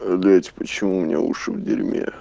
дайте почему у меня уши в дерьме